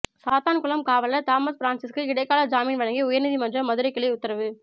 சாத்தான்குளம் காவலர் தாமஸ் பிரான்சிஸுக்கு இடைக்கால ஜாமீன் வழங்கி உயர்நீதிமன்ற மதுரை கிளை உத்தரவு